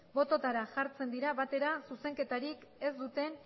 bototara jartzen dira batera zuzenketarik ez duten